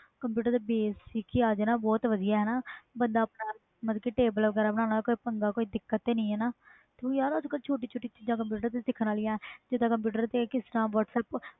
computer basic ਹੀ ਆ ਜੇ ਬਹੁਤ ਵਧਿਆ ਬੰਦਾ ਆਪਣੇ ਮਤਬਲ ਕਿ table ਵਗੈਰਾ ਬਣਨਾ ਹੋਵੇ ਕੋਈ ਪੰਗਾ ਜਾ ਦਿਕਤ ਤਾ ਨਹੀਂ ਯਾਰ ਅਜ ਕਲ ਛੋਟੀਆਂ ਛੋਟੀਆਂ ਚੀਜ਼ਾਂ ਕੰਪਿਊਟਰ ਤੇ ਸਿੱਖਣ ਲਈ ਜਿੰਦਾ whatsapp